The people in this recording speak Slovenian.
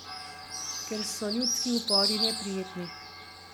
Ker so ljudski upori neprijetni.